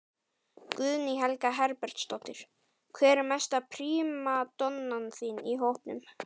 Guðný Helga Herbertsdóttir: Hver er mesta prímadonnan í hópnum?